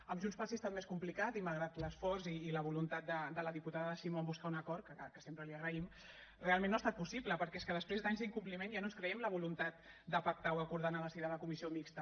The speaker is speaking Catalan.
amb junts pel sí ha estat més complicat i malgrat l’esforç i la voluntat de la diputada simó amb buscar un acord que sempre li agraïm realment no ha estat possible perquè és que després d’anys d’incompliment ja no ens creiem la voluntat de pactar o acordar en el si de la comissió mixta